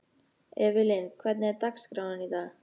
Evelyn, hvernig er dagskráin í dag?